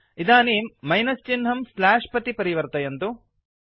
इदानीं मैनस् चिह्नं स्ल्याश् प्रति परिवर्तयन्तु